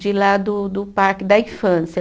de lá do do parque, da infância.